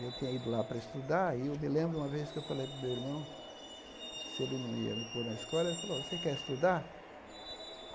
E eu tinha ido lá para estudar e eu me lembro uma vez que eu falei para o meu irmão, se ele não ia me pôr na escola, ele falou, você quer estudar?